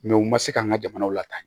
u ma se ka an ka jamanaw lataa